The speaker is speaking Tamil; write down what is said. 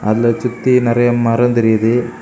அதுல சுத்தி நெறய மரம் தெரியுது.